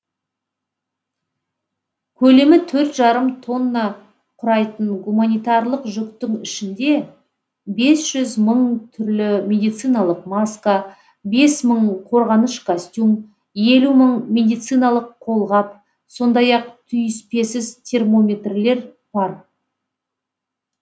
көлемі төрт жарым тонна құрайтын гуманитарлық жүктің ішінде бес жүз мың түрлі медициналық маска бес мың қорғаныш костюм елу мың медициналық қолғап сондай ақ түйіспесіз термометрлер бар